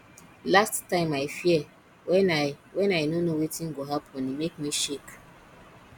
last time i fear wen i wen i no know wetin go happen e make me shake